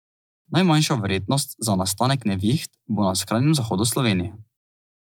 Najmanjša verjetnost za nastanek neviht bo na skrajnem zahodu Slovenije.